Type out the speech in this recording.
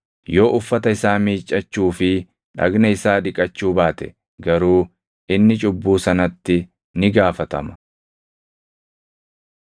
Yoo uffata isaa miiccachuu fi dhagna isaa dhiqachuu baate garuu inni cubbuu sanatti ni gaafatama.’ ”